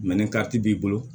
ni kariti b'i bolo